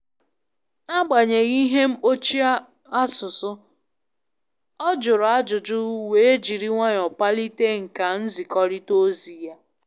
N'agbanyeghị ihe mgbochi asụsụ, ọ jụrụ ajụjụ wee jiri nwayọọ palite nkà nzikọrịta ozi ya.